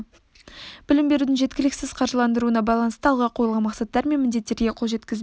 білім берудің жеткіліксіз қаржыландырылуына байланысты алға қойылған мақсаттар мен міндеттерге қол жеткізбеу